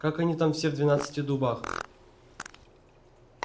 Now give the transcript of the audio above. как они там все в двенадцати дубах